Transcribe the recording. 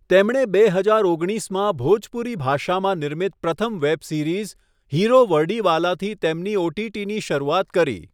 તેમણે બે હજાર ઓગણીસમાં ભોજપુરી ભાષામાં નિર્મિત પ્રથમ વેબ સિરીઝ, 'હીરો વર્ડીવાલા' થી તેમની ઓટીટીની શરૂઆત કરી.